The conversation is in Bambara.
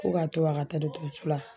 Ko ka to a ka taa dɔgɔtɔrɔso la.